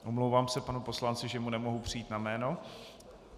Omlouvám se panu poslanci, že mu nemohu přijít na jméno.